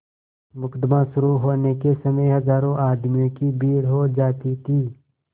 मुकदमा शुरु होने के समय हजारों आदमियों की भीड़ हो जाती थी